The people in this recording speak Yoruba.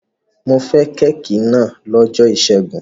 Mo fẹ́ kéékì náà lọ́jọ́ ìṣẹ́gun.